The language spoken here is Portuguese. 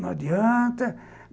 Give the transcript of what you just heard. Não adianta.